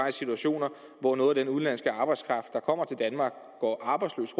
en situation hvor noget af den udenlandske arbejdskraft der kommer til danmark går arbejdsløs